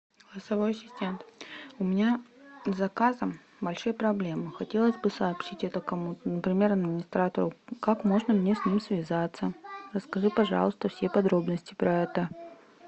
голосовой ассистент у меня с заказом большие проблемы хотелось бы сообщить это кому то например администратору как можно мне с ним связаться расскажи пожалуйста все подробности про это